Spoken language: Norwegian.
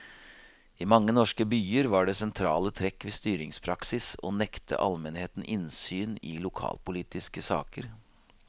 I mange norske byer var det sentrale trekk ved styringspraksis å nekte almenheten innsyn i lokalpolitiske saker.